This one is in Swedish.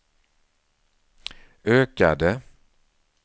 ökade